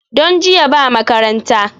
Don jiya ba makaranta